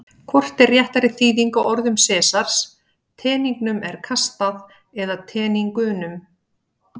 Hvort er réttari þýðing á orðum Sesars: Teningnum er kastað eða Teningunum?